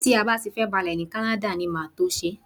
Tí a bá ti fẹ́ balẹ̀ ní Canada ni màá tó ṣe é